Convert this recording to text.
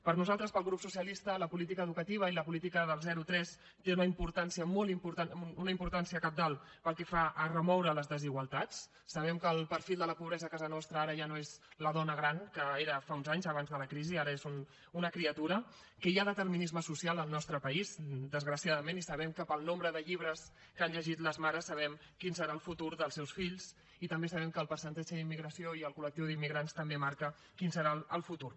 per nosaltres pel grup socialista la política educativa i la política del zero tres té una importància cabdal pel que fa a remoure les desigualtats sabem que el perfil de la pobresa a casa nostra ara ja no és la dona gran que era fa uns anys abans de la crisi ara és una criatura que hi ha determinisme social al nostre país desgraciadament i sabem que pel nombre de llibres que han llegit les mares sabem quin serà el futur dels seus fills i també sabem que el percentatge d’immigració i el col·lectiu d’immigrants també marca quin serà el futur